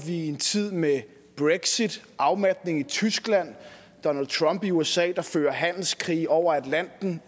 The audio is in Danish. en tid med brexit afmatning i tyskland donald trump i usa der fører handelskrige over atlanten